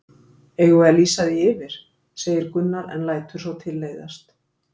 Eigum við að lýsa því yfir? segir Gunnar en lætur svo tilleiðast.